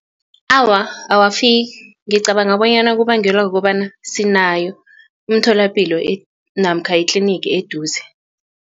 Awa awafiki ngicabanga bonyana kubangelwa kukobana sinayo umtholapilo namkha itlinigi eduze.